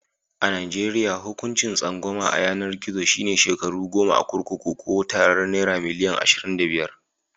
A najeriya, hukuncin tsangwama a yanar gizo shi ne shekaru goma a kurkuku Ko tarar naira milian ashirin da biyar.